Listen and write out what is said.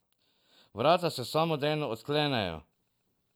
Vrata se samodejno odklenejo.